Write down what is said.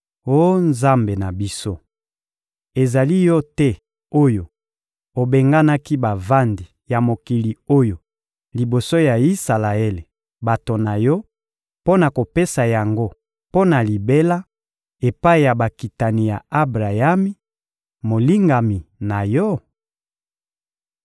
Oh Nzambe na biso, ezali Yo te oyo obenganaki bavandi ya mokili oyo liboso ya Isalaele, bato na Yo, mpo na kopesa yango mpo na libela epai ya bakitani ya Abrayami, molingami na Yo?